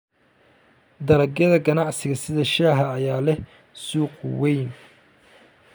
Dalagyada ganacsiga sida shaaha ayaa leh suuq weyn.